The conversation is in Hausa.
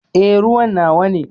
Eh, ruwan nawa ne.